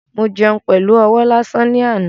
Mo jẹun pẹlu ọwọ́ lásán ni àná